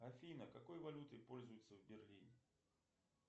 афина какой валютой пользуются в берлине